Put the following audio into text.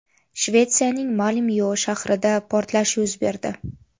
Shvetsiyaning Malmyo shahrida portlash yuz berdi.